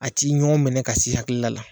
A ti ɲɔɔn minɛ ka s'i hakila la